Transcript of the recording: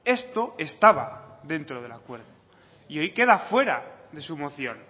esto estaba dentro del acuerdo y hoy queda fuera de su moción